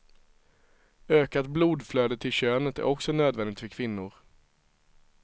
Ökat blodflöde till könet är också nödvändigt för kvinnor.